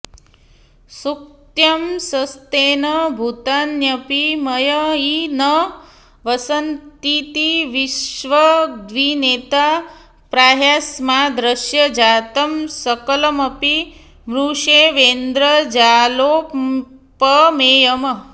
शुक्त्यंशस्तेन भूतान्यपि मयि न वसन्तीति विष्वग्विनेता प्राहास्माद्दृश्यजातं सकलमपि मृषैवेन्द्रजालोपमेयम्